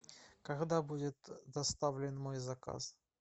когда будет доставлен мой заказ